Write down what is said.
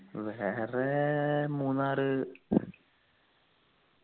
വേറെ മൂന്നാറ്